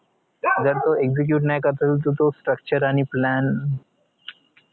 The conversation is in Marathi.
जर तो execute नी करता येईल तर तो structure आणि plan